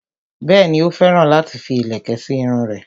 Bẹ́ẹ̀ni, ó féràn láti fi ìlẹ̀kẹ̀ sí irun rẹ̀